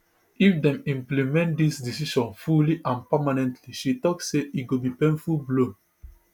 if dem implement dis decision fully and permanently she tok say e go be painful blow